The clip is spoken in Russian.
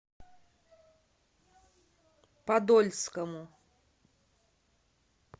подольскому